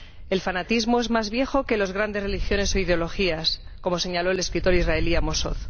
El fanatismo es más viejo que las grandes religiones o ideologías, como señaló el escritor israelí Amos Oz.